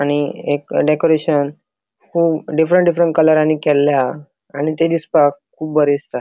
आणि एक डेकोरेशन कुब डिफ्रन्ट डिफ्रन्ट कलरानी केल्ले हा आणि ते दिसपाक कुब बरे दिसता.